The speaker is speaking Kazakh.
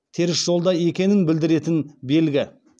теріс жолда екенін білдіретін белгі